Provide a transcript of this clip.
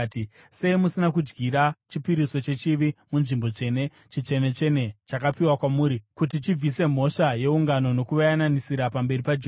“Sei musina kudyira chipiriso chechivi munzvimbo tsvene? Chitsvene-tsvene, chakapiwa kwamuri kuti chibvise mhosva yeungano nokuvayananisira pamberi paJehovha.